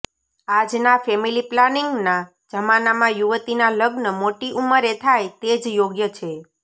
આજના ફેમિલી પ્લાનિંગના જમાનામાં યુવતીના લગ્ન મોટી ઉંમરે થાય તે જ યોગ્ય છે